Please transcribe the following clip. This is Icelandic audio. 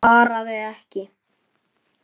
Svaraði ekki.